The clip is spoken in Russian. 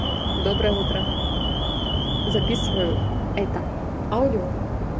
доброе утро записываю это аудио